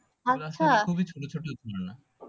খুবই ছোট ছোট ঝর্ণা